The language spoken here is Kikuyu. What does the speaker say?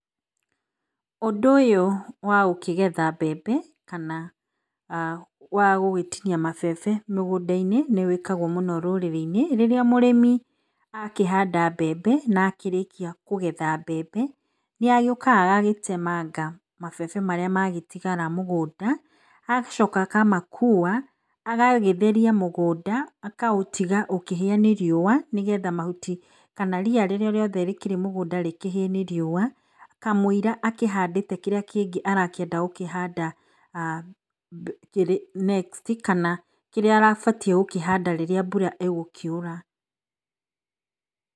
Ũndũ ũyũ wa gũkĩgetha mbembe kana wa gũgĩtinia mabebe mũgũnda-inĩ nĩ wĩkagwo mũno rũrĩrĩ-inĩ. Rĩrĩa mũrĩmi akĩhanda mbembe na akĩrĩkia kũgetha mbembe, nĩagĩũkaga agagĩtemanga mabebe marĩa magĩtigara mũgũnda, agacoka akamakua, agagĩtheria mũgũnda, akaũtiga ũkĩhĩa nĩ riũa nĩgetha mahuti kana ria rĩrĩa rĩkĩrĩ mũgũnda kamũira akĩhandĩte kĩrĩa kĩngĩ arakĩenda gũkĩhanda next kana kĩrĩa agĩbatiĩ gũkĩhanda rĩrĩa mbura ĩgũkiura.